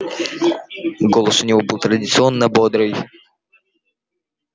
голос у него был традиционно бодрый